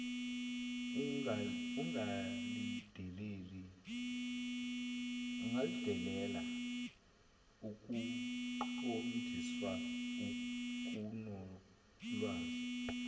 ungalindela ukuqondiswa okunolwazi